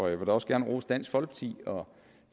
jeg vil også gerne rose dansk folkeparti og